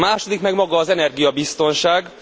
A második meg maga az energiabiztonság.